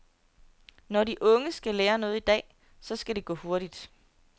Når de unge skal lære noget i dag, så skal det gå hurtigt.